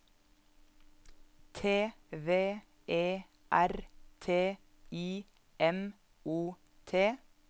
T V E R T I M O T